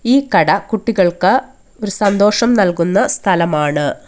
ഈ കട കുട്ടികൾക്ക് ഒരു സന്തോഷം നൽകുന്ന സ്ഥലമാണ്.